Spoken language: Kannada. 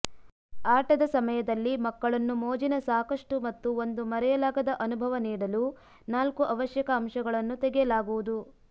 ಆಟದ ಸಮಯದಲ್ಲಿ ಮಕ್ಕಳನ್ನು ಮೋಜಿನ ಸಾಕಷ್ಟು ಮತ್ತು ಒಂದು ಮರೆಯಲಾಗದ ಅನುಭವ ನೀಡಲು ನಾಲ್ಕು ಅವಶ್ಯಕ ಅಂಶಗಳನ್ನು ತೆಗೆಯಲಾಗುವುದು